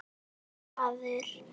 Komdu, maður.